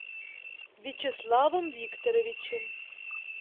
вячеславом викторовичем